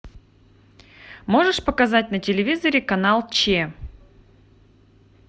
можешь показать на телевизоре канал че